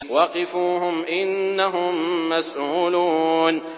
وَقِفُوهُمْ ۖ إِنَّهُم مَّسْئُولُونَ